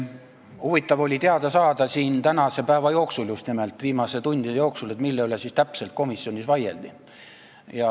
Huvitav oli teada saada, just nimel tänase päeva jooksul, viimaste tundide jooksul, et mille üle täpselt komisjonis vaieldi.